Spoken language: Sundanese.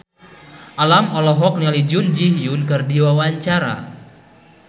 Alam olohok ningali Jun Ji Hyun keur diwawancara